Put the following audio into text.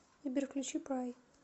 сбер включи прай